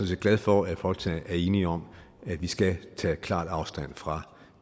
set glad for at folketinget er enige om at vi skal tage klart afstand fra